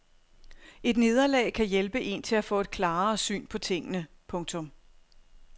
Et nederlag kan hjælpe een til at få et klarere syn på tingene. punktum